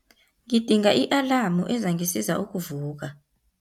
Ngidinga i-alamu ezangisiza ukuvuka.